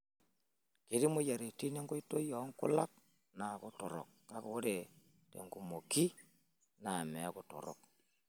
Ketii moyiaritin enkoitoi oo nkulak naaku torok kake ore tenkumoki naa mee torok.